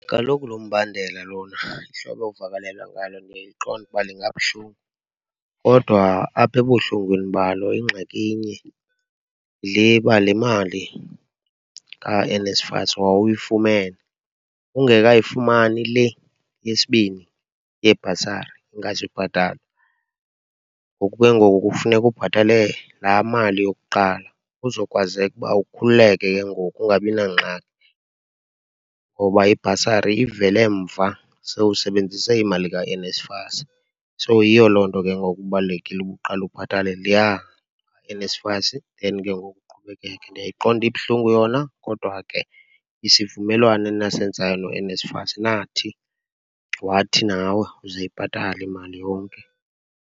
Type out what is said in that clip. Kaloku lo mbandela lona, ihlobo ovakalelwa ngalo ndiyayiqonda uba lingabuhlungu. Kodwa apha ebuhlungwini balo ingxaki inye, yile uba le mali kaNSFAS wawuyifumene ungekayifumani le yesibini yebhasari ongazuyibhatala. Ngoku ke ngoku kufuneka ubhatale laa mali yokuqala kuzokwazeka ukuba ukhululeke ke ngoku, ungabi nangxaki ngoba ibhasari ivele mva, sowusebenzise imali kaNSFAS. So, yiyo loo nto ke ngoku kubalulekile uba uqale ubhatale leya kaNSFAS then ngoku uqhubekeke. Ndiyayiqonda ibuhlungu yona, kodwa ke isivumelwano enasenzayo noNSFAS nathi, wathi nawe uzoyibhatala imali yonke.